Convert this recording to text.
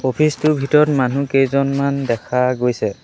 Office টোৰ ভিতৰত মানুহ কেইজনমান দেখা গৈছে।